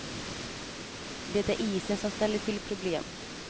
Det är isen som ställer till problem.